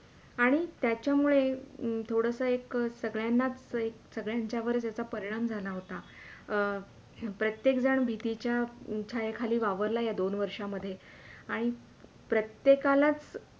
आणि त्याच्या मुळे थोडासा एक संगळ्यांनाच एक संगळ्यांच्यावरच याचा परिणाम झाला होता अं प्रत्येकजण भितीच्या छाया खाली वावरला या दोन वर्षामधे आणि प्रत्येकालाच